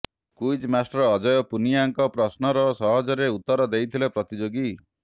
quiz master Ajay ପୁନିଆଙ୍କ ପ୍ରଶ୍ନର ସହଜରେ ଉତ୍ତର ଦେଇଥିଲେ ପ୍ରତିଯୋଗୀ